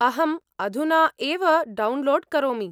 अहम् अधुना एव डौन्लोड्‍ करोमि।